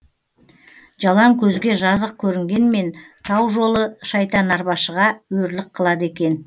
жалаң көзге жазық көрінгенмен тау жолы шайтанарбашыға өрлік қылады екен